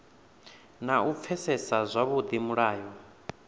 na u pfesesa zwavhudi mulayo